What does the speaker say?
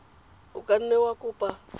o ka nne wa kopa